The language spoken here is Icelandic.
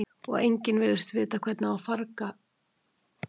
Og enginn virðist vita hvernig á að farga rannsóknargögnunum.